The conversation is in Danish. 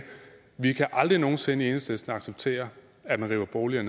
vi kan aldrig nogen sinde i enhedslisten acceptere at man river boliger